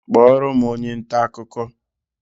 Kpọọrọ m onye nta akụkọ!